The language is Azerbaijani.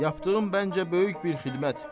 Yapdığım bəncə böyük bir xidmət.